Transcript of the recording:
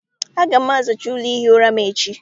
Aga m azacha ụlọ ihi ụra m echi.